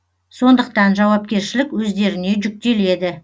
сондықтан жауапкершілік өздеріне жүктеледі